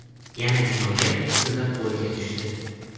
yana jinoyat ustida qo‘lga tushdi.